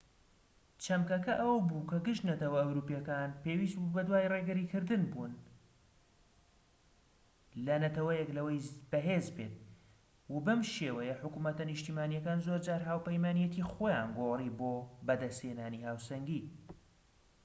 چەمکەکە ئەوە بوو کە گشت نەتەوە ئەوروپیەکان پێویست بوو بەدوای ڕێگری کردن بوون ەل نەتەوەیەک لەوەی بەهێز بێت و بەم شێوەیە حکومەتە نیشتیمانیەکان زۆرجار هاوپەیمانیەتی خۆیان گۆڕی بۆ بەدەست هێنانی هاوسەنگی